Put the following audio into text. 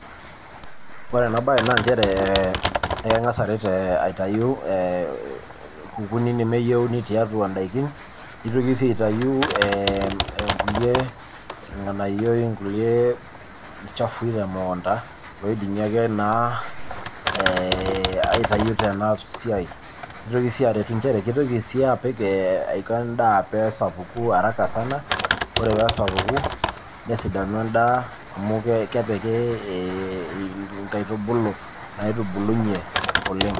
ore ena bae naa nchere eeh ekengas aret eeh aitayu nkukuni nemeyieni tiatua ndaikin, neitoki sii aitayu eeh eem nkulie ng'anayioi nkulie ilchafui te mukunda oidimi ake naa eeh aitayu tena siai, nitoki sii aretu nchere kitoki sii apik ee aiko endaa peesapuku haraka sana ore peesapuku nesidanu endaa amu kepiki eeh eeh nkaitubulu naitubulunye oleng.